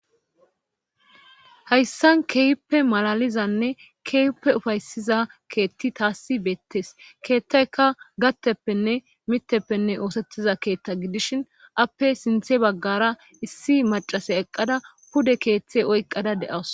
hayssan keewippe malalizanne keewippe ufaysiza keetti taassi beettees keettayka gatteppenne mitteppenne oosettiza keetta gidishin appe sinthe baggara issi macase eqqada pude keeththe oyqqada de7awus